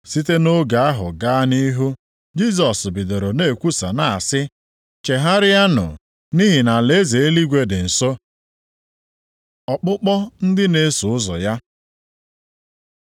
Site nʼoge ahụ gaa nʼihu Jisọs bidoro na-ekwusa na-asị, “Chegharịanụ, nʼihi na alaeze eluigwe dị nso.” Ọkpụkpọ ndị na-eso ụzọ ya